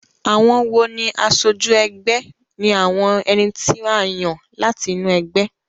Àwon wo ní asojú egbé ni àwon eni tí a yàn láti inú egbé